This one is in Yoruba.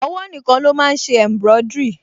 Ọwọ́ nìkan ló máa n ṣe embroidery